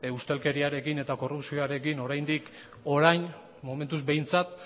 ustelkeriarekin eta korrupzioarekin oraindik orain momentuz behintzat